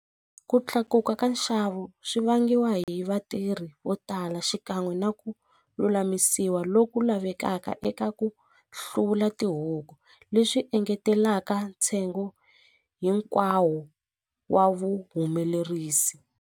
Ku tlakuka ka nxavo swi vangiwa hi vatirhi vo tala xikan'we na ku lulamisiwa loku lavekaka eka ku hluvula tihuku leswi engetelaka ntsengo hinkwawo wa vuhumelerisi.